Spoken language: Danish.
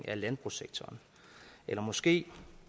af landbrugssektoren eller måske